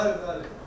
Bəli, bəli.